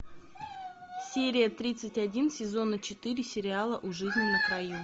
серия тридцать один сезона четыре сериала у жизни на краю